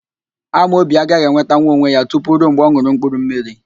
Amobi agaghị enweta onwe ya tutu rue mgbe ọ n̄ụrụ mkpurummiri